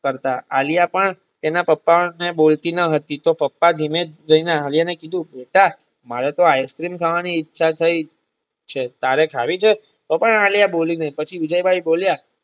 આલ્યા પણ તેના પપ્પા ને બોલતી ન હતી તો પપ્પાને દીમે દયને અલ્યા ને કીધું બેટા મારેતો ice cream ખાવા ની ઈચ્છા થઈ છે. તારે ખાવી છે. તો પણ આલ્યા બોલી નહિ પછી વિજયભાઈ બોલ્યા